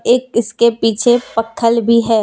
एक इसके पीछे पत्थर भी है।